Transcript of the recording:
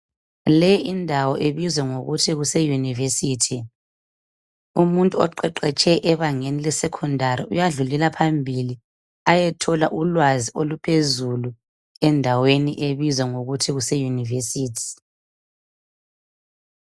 le indawo ebizwa ngokuthi kuse university oqgeqetshe ebangeni le secondary uyadlulela phambili ayethola ulwazi oluphezulu endaweni ebayibiza ngokuthi kuse university